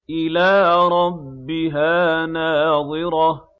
إِلَىٰ رَبِّهَا نَاظِرَةٌ